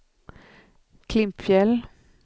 Klimpfjäll